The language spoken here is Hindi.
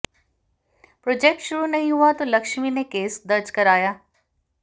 प्रोजेक्ट शुरू नहीं हुआ तो लक्ष्मी ने केस दर्ज कराया